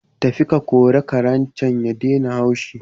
Tafi ka kori Karen can ya daina haushi